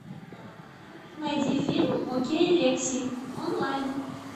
найди фильм окей лекси онлайн